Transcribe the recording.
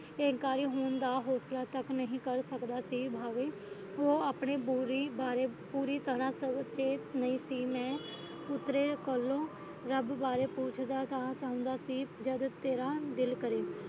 ਅਹੰਕਾਰੀ ਹੋਂਦ ਦਾ ਹੌਸਲਾ ਤੱਕ ਨਹੀਂ ਕਰ ਸਕਦਾ ਸੀ ਭਾਵੇਂ ਉਹ ਆਪਣੇ ਆਪਣੀ ਬੋਰੀ ਬਾਰੇ ਪੂਰੀ ਤਰ੍ਹਾਂ ਸੰਚੇਤ ਨਹੀਂ ਸੀ ਮੈਂ ਉਹਨਾਂ ਕੋਲੋਂ ਰੱਬ ਬਾਰੇ ਪੁੱਛਦਾ ਸੀ ਤਾਂ ਕਹਿੰਦਾ ਸੀ ਜੱਦ ਤੇਰਾ ਦਿਲ ਕਰੇ